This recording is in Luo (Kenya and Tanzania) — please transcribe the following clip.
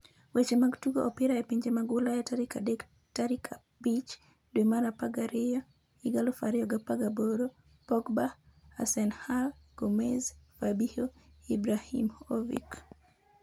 Weche mag Tugo Opira e Pinje mag Ulaya tarik adek tarik 05.12.2018: Pogba, Hasenhuttl, Gomes, Fabinho, Ibrahimovic